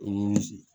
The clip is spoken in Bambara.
O nimisi